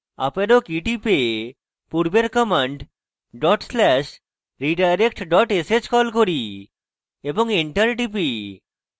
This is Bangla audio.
up arrow key টিপে পূর্বের command dot slash redirect dot sh key key এবং enter টিপি